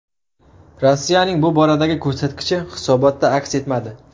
Rossiyaning bu boradagi ko‘rsatkichi hisobotda aks etmadi.